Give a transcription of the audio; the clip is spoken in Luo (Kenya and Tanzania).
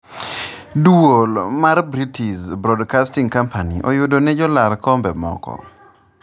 duol mar British broadcasting company oyudo ni jolar kombe moko